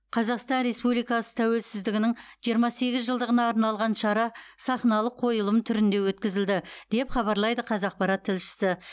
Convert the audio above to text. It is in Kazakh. қазақстан республикасы тәуелсіздігінің жиырма сегіз жылдығына арналған шара сахналық қойылым түрінде өткізілді деп хабарлайды қазақпарат тілшісі